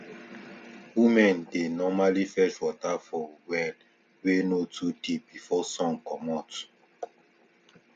women dey normally fetch water for well wey no too deep before sun commot